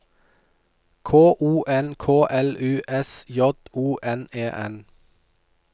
K O N K L U S J O N E N